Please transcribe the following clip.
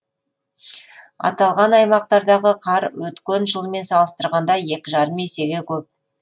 аталған аймақтардағы қар өткен жылмен салыстырғанда екі жарым есеге көп